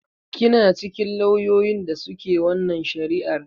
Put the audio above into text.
Kina cikin lauyoyin da su ke wannan shari'ar?